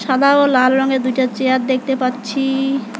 সাদা ও লাল রঙের দুইটা চেয়ার দেখতে পাচ্ছি।